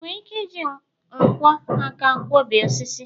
ị nwere ike iji nkwọ aka kwo bee osisi?